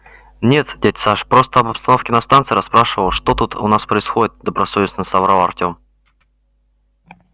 нет дядь саш просто об обстановке на станции расспрашивал что тут у нас происходит добросовестно соврал артём